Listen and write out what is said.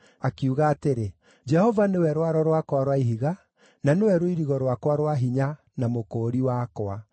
Akiuga atĩrĩ: “Jehova nĩwe rwaro rwakwa rwa ihiga, na nĩwe rũirigo rwakwa rwa hinya, na mũkũũri wakwa;